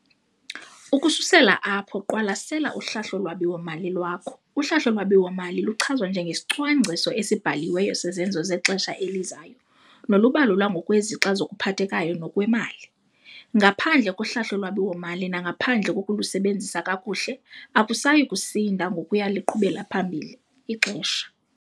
Ukususela apho qwalasela uhlahlo lwabiwo-mali lwakho. Uhlahlo lwabiwo-mali luchazwa njengesicwangciso esibhaliweyo sezenzo zexesha elizayo, nolubalulwa ngokwezixa zokuphathekayo nokwemali. Ngaphandle kohlahlo lwabiwo-mali nangaphandle kokulusebenzisa kakuhle akusayi kusinda ngokuya liqhubela phambili ixesha.